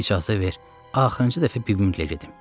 Mənə icazə ver, axırıncı dəfə bibimlə gedim.